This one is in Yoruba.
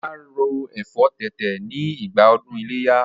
Ọlá ro ẹ̀fọ́ tètè ni ìgbà ọdún ileya